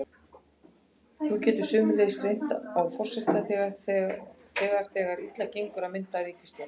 Þá getur sömuleiðis reynt á forseta þegar þegar illa gengur að mynda ríkisstjórn.